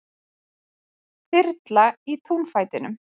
Þyrla í túnfætinum